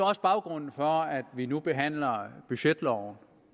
også baggrunden for at vi nu behandler forslag budgetloven